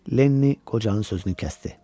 Lenni qocanın sözünü kəsdi.